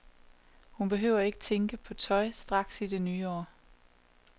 Hun behøver ikke at tænke på tøj straks i det nye år.